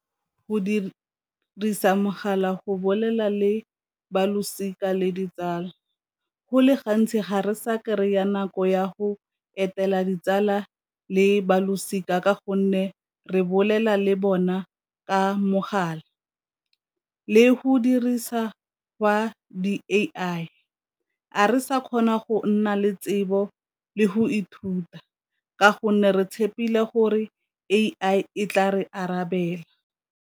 Go dirisa mogala go bolela le balosika le ditsala, go le gantsi ga re sa kry-a nako ya go etela ditsala le balosika ka gonne re bolela le bona ka mogala le go dirisa gwa di-A_I, ga re sa kgona go nna le tsebo le go ithuta ka gonne re tshepileng gore A_I e tla re arabela.